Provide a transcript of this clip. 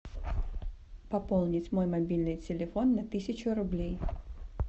пополнить мой мобильный телефон на тысячу рублей